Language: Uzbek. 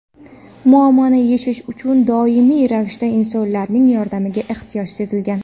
Muammoni yechish uchun doimiy ravishda insonlarning yordamiga ehtiyoj sezilgan.